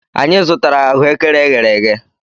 Anyị zụtara ahụekere eghere eghe.